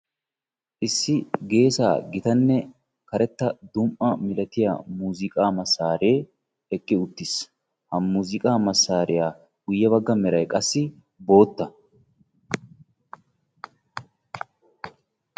Issi geessa gitanne karetta dum"a malatiya muuziqqa. masaree eqqi uttiis. Ha muuziqa masariya guyye bagga meray qassi bootta.